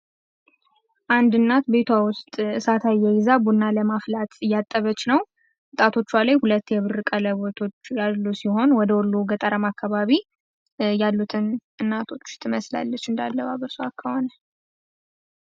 አንድ እናት ቤቷ ውስጥ ሳት አየይዛ ቡና ለማፍላተት እያጠበች ነው ጣቶቿ ላይ ሁለት የብር ቀለበጦች ያሉ ሲሆን ወደ ወሎ ገጠር አካባቢ ያሉ እናቶችን ትመስላለች እንደ አለባበሷ ከሆነ።